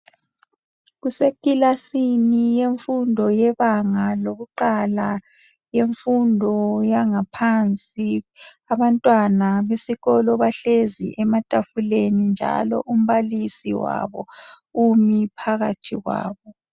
kusekilasini yemfundo yebanga lokuqala yemfundo yangaphansi abantwana besikolo bahlezi ematafuleni njalo umbalisi wabo umi phakathi kwabo